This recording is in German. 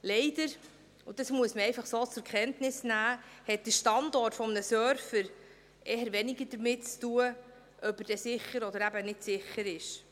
Leider – und das muss man einfach so zur Kenntnis nehmen – hat der Standort eines Servers eher weniger damit zu tun, ob er dann sicher oder eben nicht sicher ist.